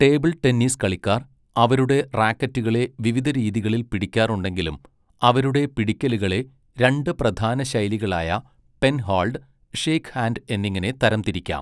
Table tennis കളിക്കാർ അവരുടെ റാക്കറ്റുകളെ വിവിധ രീതികളിൽ പിടിക്കാറുണ്ടെങ്കിലും അവരുടെ പിടിക്കലുകളെ രണ്ട് പ്രധാന ശൈലികളായ പെൻഹോൾഡ്, ഷേക്ക്ഹാൻഡ് എന്നിങ്ങനെ തരംതിരിക്കാം.